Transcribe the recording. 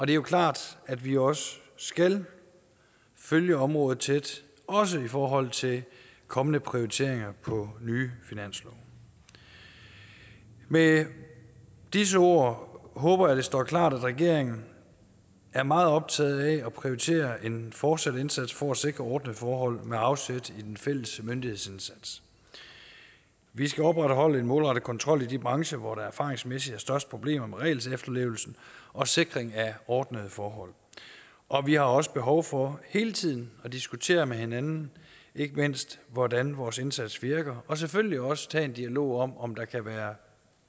det er klart at vi også skal følge området tæt også i forhold til kommende prioriteringer på nye finanslove med disse ord håber jeg det står klart at regeringen er meget optaget af at prioritere en fortsat indsats for at sikre ordnede forhold med afsæt i den fælles myndighedsindsats vi skal opretholde en målrettet kontrol i de brancher hvor der erfaringsmæssigt er størst problemer med regelefterlevelsen og sikringen af ordnede forhold og vi har også behov for hele tiden at diskutere med hinanden ikke mindst hvordan vores indsats virker og selvfølgelig også tage en dialog om om der kan være